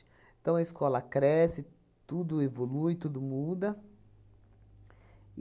Então, a escola cresce, tudo evolui, tudo muda.